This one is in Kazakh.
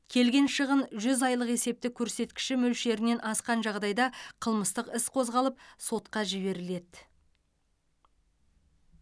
келген шығын жүз айлық есептік көрсеткіші мөлшерінен асқан жағдайда қылмыстық іс қозғалып сотқа жіберіледі